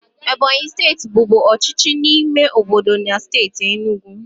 Ebonyi steeti bụbu ọchịchị ime obodo na steeti enugu.